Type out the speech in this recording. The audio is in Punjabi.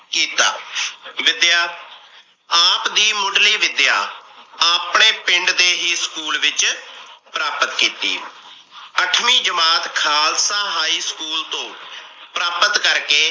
ਕੀਤਾ l ਵਿੱਦਿਆ - ਆਪ ਦੀ ਮੁਡਲੀ ਵਿੱਦਿਆ ਆਪਣੇ ਪਿੰਡ ਦੇ ਹੀ ਸਕੂਲ ਵਿੱਚ ਪ੍ਰਾਪਤ ਕੀਤੀ। ਅਠਵੀਂ ਜਮਾਤ ਖਾਲਸਾ high school ਤੋਂ ਪ੍ਰਾਪਤ ਕਰਕੇ ।